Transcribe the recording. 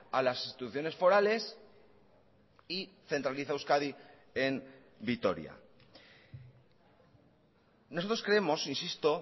a las instituciones forales y centraliza euskadi en vitoria nosotros creemos insisto